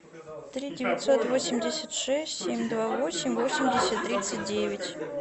три девятьсот восемьдесят шесть семь два восемь восемьдесят тридцать девять